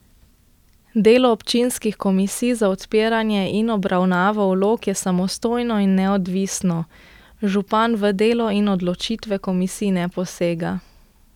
Delo občinskih komisij za odpiranje in obravnavo vlog je samostojno in neodvisno, župan v delo in odločitve komisij ne posega.